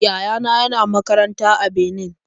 Yaya na yana makaranta a Benin.